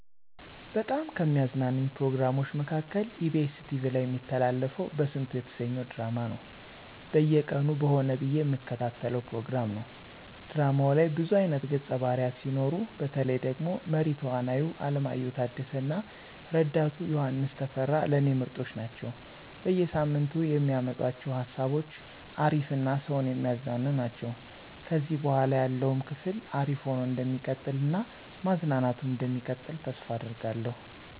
በጣም ከሚያዝናኑኝ ፕሮግራሞች መካከል ebs ቲቪ ላይ እሚተላለፈው በስንቱ የተሰኘው ድራማ ነው። በየቀኑ በሆነ ብዬ እምከታተለው ፕሮግራም ነው። ድራማው ላይ ብዙ አይነት ገፀ ባህርያት ሲኖሩ፤ በተለይ ደግሞ መሪ ተዋናዩ አለማየሁ ታደሰ እና ረዳቱ ዮሐንስ ተፈራ ለኔ ምርጦች ናቸው። በየ ሳምንቱ የሚያመጡአቸው ሃሳቦች አሪፍ እና ሰውን የሚያዝናኑ ናቸው። ከዚህ በኃላ ያለውም ክፍል አሪፍ ሆኖ እንደሚቀጥል እና ማዝናናቱም እንደሚቀጥል ተስፋ አደርጋለሁ።